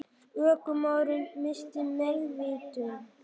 Ökumaðurinn missti meðvitund